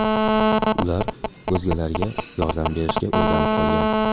Ular o‘zgalarga yordam berishga o‘rganib qolgan.